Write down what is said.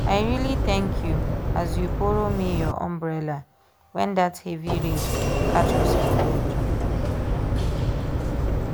i really thank you as you borrow me your umbrella when that heavy rain catch us for road